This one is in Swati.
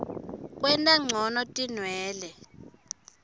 kwenta ncono tilwane